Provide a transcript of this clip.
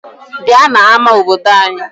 Bịa n'ama obodo anyị!